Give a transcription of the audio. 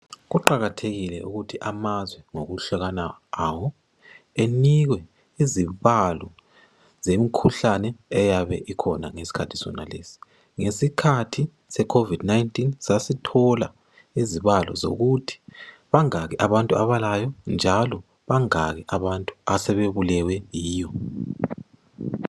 Kuqakathekile ukuthi amazwe ngokuhlukana kwawo enike izibalo zemikhuhlaneni eyabe ikhona ngesikhathi sonaleso. Ngesikhathi seCovid19 sasithola izibalo zokuthi bangaki abantu abalayo njalo bangaki abantu asebebulewe yiyo.